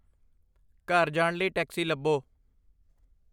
ਘਰ ਜਾਣ ਲਈ ਟੈਕਸੀ ਲੱਭੋ